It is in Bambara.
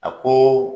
A ko